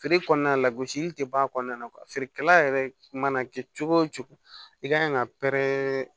Feere kɔnɔna la gosili tɛ bɔ a kɔnɔna na feerekɛla yɛrɛ mana kɛ cogo o cogo i ka kan ka pɛrɛn